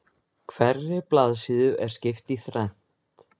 Hverri blaðsíðu er skipt í þrennt